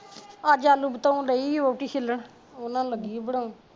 ਅੱਜ ਆਲੂ ਬਤਾਊ ਦਈ ਵਹੁਟੀ ਛਿੱਲਣ ਉਨ੍ਹਾਂ ਨੂੰ ਲੱਗੀ ਬਣਾਉਣ